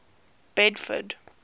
bedford